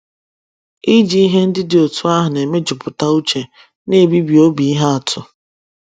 Iji ihe ndị dị otú ahụ na - emejupụta uche na - ebibi obi ihe atụ.